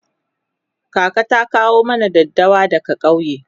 kaka ta kawo mana daddawa daga kauye